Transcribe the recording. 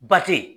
Ba te